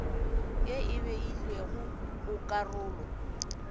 ye e beilwego go karolo